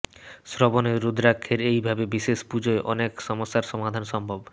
শ্রাবণে রুদ্রাক্ষের এই ভাবে বিশেষ পূজায় অনেক সমস্যার সমাধান সম্ভব